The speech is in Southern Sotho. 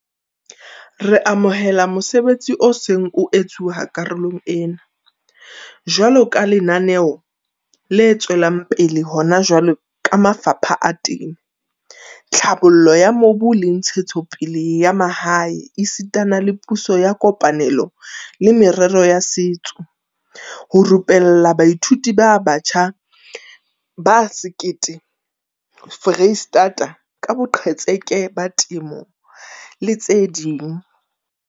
Re amohela mosebetsi o seng o etsuwa karolong ena, jwaloka lenaneo le tswelang pele hona jwale ka mafapha a Temo, Tlhabollo ya Mobu le Ntshetsopele ya Mahae esita le Puso ya kopanelo le Merero ya Setso, ho rupella baithuti ba batjha ba 1 000 Freistata ka boqhetseke ba temo le tse ding.